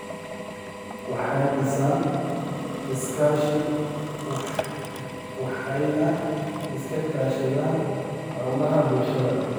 waxay dhisaan iskaashi waxayna iska kaashadaan hawlaha bulshada.